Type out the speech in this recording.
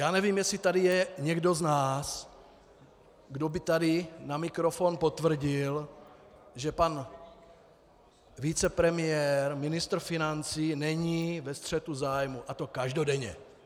Já nevím, jestli tady je někdo z nás, kdo by tady na mikrofon potvrdil, že pan vicepremiér, ministr financí, není ve střetu zájmů, a to každodenně.